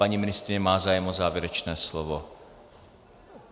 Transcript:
Paní ministryně má zájem o závěrečné slovo.